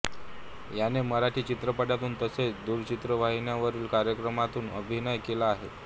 याने मराठी चित्रपटांतून तसेच दूरचित्रवाहिन्यांवरील कार्यक्रमांतून अभिनय केला आहे